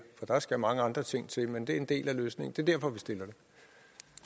der skal mange andre ting til også men det er en del af løsningen